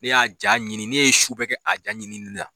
Ne y'a Ja ɲini , ne ye su bɛɛ kɛ a ja ɲinini la.